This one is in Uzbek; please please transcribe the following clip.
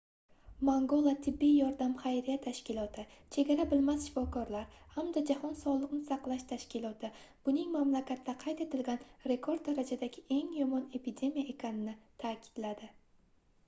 mangola tibbiy yordam xayriya tashkiloti chegara bilmas shifokorlar hamda jahon sogʻliqni saqlash tashkiloti buning mamlakatda qayd etilgan rekord darajadagi eng yomon epidemiya ekanini taʼkidladi